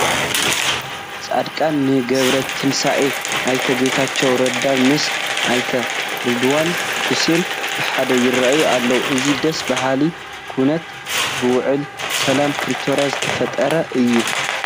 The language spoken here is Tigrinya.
ጀነራል ፃድቃን ገብረትንሳኤን ኣይተ ጌታቸው ረዳን ምስ ኣይተ ሬድዋን ሑሴን ብሓደ ይርአዩ ኣለዉ፡፡ እዚ ደስ በሃሊ ኩነታ ብውዕል ሰላም ፕሪቶርያ ዝተፈጥረ እዩ፡፡